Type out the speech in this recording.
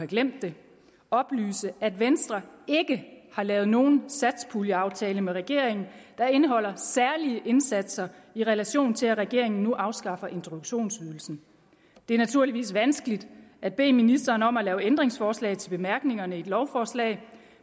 glemt det oplyse at venstre ikke har lavet nogen satspuljeaftale med regeringen der indeholder særlige indsatser i relation til at regeringen nu afskaffer introduktionsydelsen det er naturligvis vanskeligt at bede ministeren om at lave ændringsforslag til bemærkningerne i et lovforslag